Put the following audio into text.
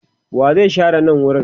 wa zai share nan wurin?